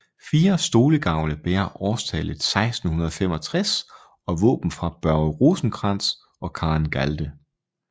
Fire stolegavle bærer årstallet 1665 og våben for Børge Rosenkrantz og Karen Galde